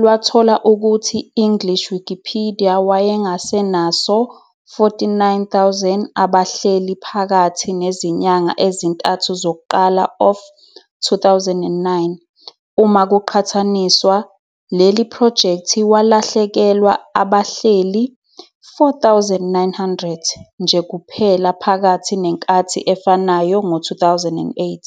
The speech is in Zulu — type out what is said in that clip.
lwathola ukuthi English Wikipedia wayengasenaso 49,000 abahleli phakathi nezinyanga ezintathu zokuqala of 2009, uma kuqhathaniswa, leli project walahlekelwa abahleli 4.900 nje kuphela phakathi nenkathi efanayo ngo-2008.